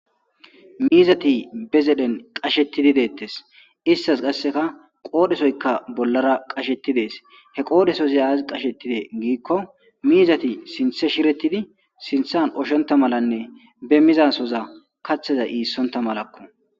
Miizati be zeden qashettidi deettes istas qasseka qoodhesoyka bollara qashetidees he qoodhesoziyaaz qashettide giikko miizati sinthe shirettidi sinthan oshonta malanne be mizasoza kathaza iissonta malakko